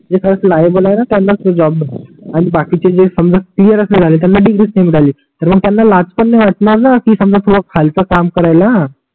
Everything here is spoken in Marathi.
जे खरच लायबल आहे णा त्यांच ते जॉब मिळते आणि बाकीचे जे समजा स्टीयर मिळाले त्यांना डिग्री नाही मिळाली तर मग त्यांना लाज पण नाही वाटणार णा समजा किवा खालच काम करायला